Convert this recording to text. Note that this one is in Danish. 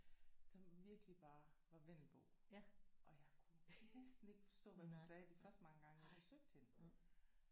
Som virkelig bare var vendelbo og jeg kunne næsten ikke forstå hvad hun sagde de første mange gange jeg besøgte hende